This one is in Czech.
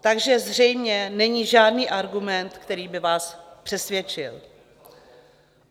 Takže zřejmě není žádný argument, který by vás přesvědčil.